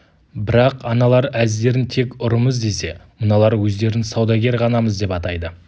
бірақ аналар әздерін тек ұрымыз десе мыналар өздерін саудагер ғанамыз деп атайды